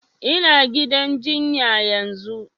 Ina gidan jinya yanzun